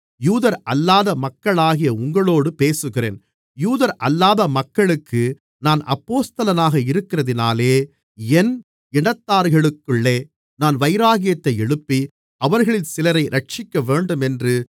யூதரல்லாத மக்களாகிய உங்களோடு பேசுகிறேன் யூதரல்லாத மக்களுக்கு நான் அப்போஸ்தலனாக இருக்கிறதினாலே என் இனத்தார்களுக்குள்ளே நான் வைராக்கியத்தை எழுப்பி அவர்களில் சிலரை இரட்சிக்கவேண்டுமென்று